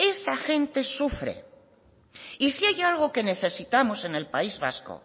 esa gente sufre y si hay algo que necesitamos en el país vasco